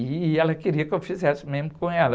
E ela queria que eu fizesse mesmo com ela.